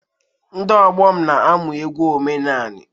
Ndị ọgbọ m na-amụ egwu omenanị.